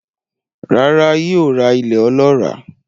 Rárá, yóò ra ilẹ̀ olọ́ràá